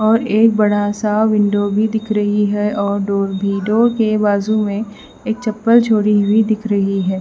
और एक बड़ा सा विंडो भी दिख रही है और डोर भी डोर के बाजू में एक चप्पल छोड़ी हुई दिख रही है।